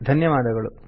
ಧನ್ಯವಾದಗಳು